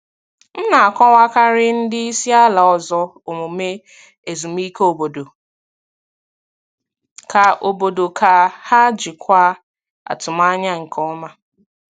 M na-akọwakarị ndị isi ala ọzọ omume ezumike obodo ka obodo ka ha jikwaa atụmanya nke ọma.